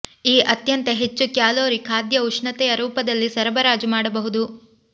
ಈ ಅತ್ಯಂತ ಹೆಚ್ಚು ಕ್ಯಾಲೋರಿ ಖಾದ್ಯ ಉಷ್ಣತೆಯ ರೂಪದಲ್ಲಿ ಸರಬರಾಜು ಮಾಡಬಹುದು